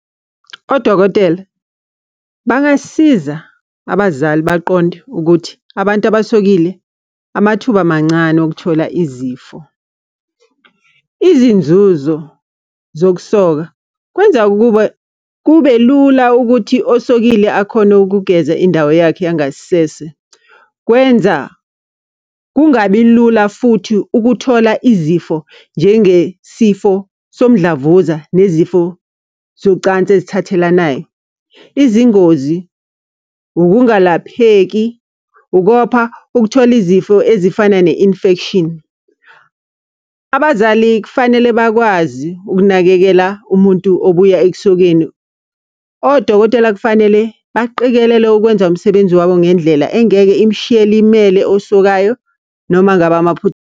Odokotela, bangasiza abazali baqonde ukuthi, abantu abasokile amathuba mancane okuthola izifo. Izinzuzo zokusoka kwenza ukuba kube lula ukuthi osokile akhone ukugeza indawo yakhe yangasese. Kwenza kungabi lula futhi ukuthola izifo, njengesifo somdlavuza nezifo socansi ezithathelanayo. Izingozi, ukungalapheki, ukopha, ukuthola izifo ezifana ne-infection. Abazali kufanele bakwazi ukunakekela umuntu obuya ekusokeni. Odokotela kufanele baqikelele ukwenza umsebenzi wabo ngendlela engeke imshiye elimele osokayo noma ngabe .